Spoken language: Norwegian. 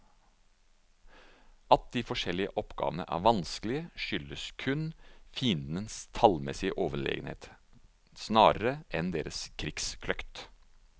At de forskjellige oppdragene er vanskelige, skyldes kun fiendens tallmessige overlegenhet, snarere enn deres krigskløkt.